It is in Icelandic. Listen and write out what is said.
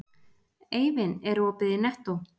Eivin, er opið í Nettó?